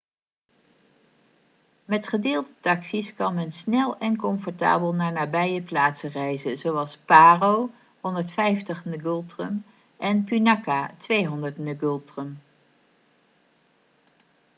met gedeelde taxi's kan men snel en comfortabel naar nabije plaatsen reizen zoals paro 150 ngultrum en punakha 200 ngultrum